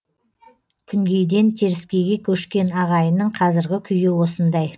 күнгейден теріскейге көшкен ағайынның қазіргі күйі осындай